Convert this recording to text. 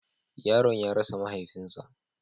Yaron ya rasa mahaifinsa.